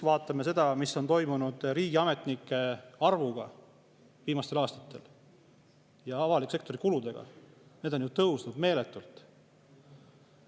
Vaatame seda, mis on toimunud riigiametnike arvuga viimastel aastatel ja avaliku sektori kuludega – need on tõusnud meeletult.